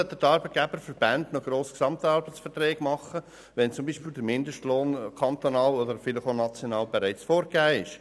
Weshalb sollten die Arbeitgeberverbände noch GAV machen, wenn der Mindestlohn kantonal oder vielleicht auch national bereits vorgegeben ist?